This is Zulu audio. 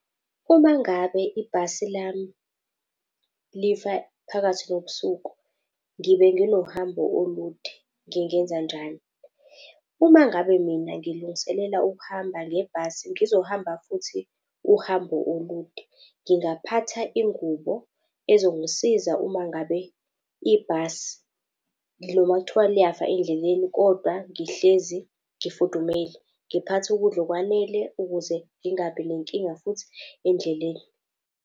Uma ngabe ibhasi lami lifa phakathi nobusuku ngibe nginohambo olude ngingenzanjani? Uma ngabe mina ngilungiselela ukuhamba ngebhasi ngizohamba futhi uhambo olude, ngingaphatha ingubo ezongisiza uma ngabe ibhasi noma kuthiwa liyafa endleleni kodwa ngihlezi ngifudumele, ngiphathe ukudla okwanele ukuze ngingabi nenkinga futhi endleleni.